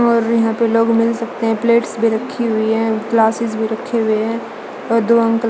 और यहां पे लोग मिल सकते हैं प्लेट्स भी रखी हुई हैं ग्लासेस भी रखे हुए हैं और दो अंकल --